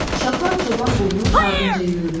Uşaqlar çoban qulunun ardınca yüyürdülər.